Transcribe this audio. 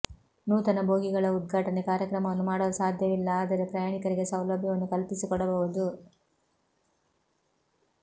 ನೂತನ ಬೋಗಿಗಳ ಉದ್ಘಾಟನೆ ಕಾರ್ಯಕ್ರಮವನ್ನು ಮಾಡಲು ಸಾಧ್ಯವಿಲ್ಲ ಆದರೆ ಪ್ರಯಾಣಿಕರಿಗೆ ಸೌಲಭ್ಯವನ್ನು ಕಲ್ಪಿಸಿಕೊಡಬಹುದು